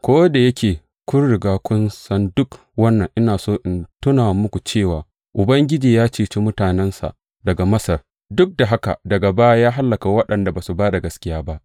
Ko da yake kun riga kun san duk wannan, ina so in tuna muku cewa Ubangiji ya ceci mutanensa daga Masar, duk da haka daga baya ya hallaka waɗanda ba su ba da gaskiya ba.